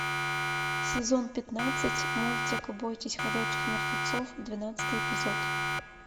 сезон пятнадцать мультик бойтесь ходячих мертвецов двенадцатый эпизод